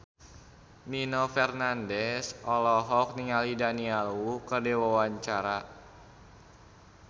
Nino Fernandez olohok ningali Daniel Wu keur diwawancara